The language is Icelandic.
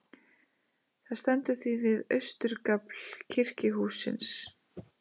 Það stendur því við austurgafl kirkjuhússins.